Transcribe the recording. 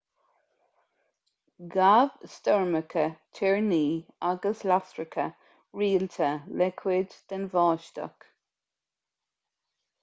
ghabh stoirmeacha toirní agus lasracha rialta le cuid den bháisteach